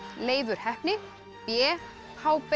Leifur heppni b